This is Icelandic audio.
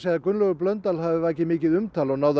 að Gunnlaugur Blöndal hafi vakið mikið umtal og náð að